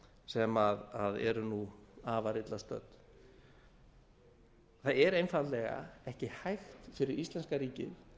sem eru afar illa stödd það er einfaldlega ekki hægt fyrir íslenska ríkið